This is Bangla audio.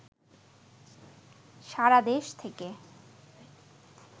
সারাদেশ থেকে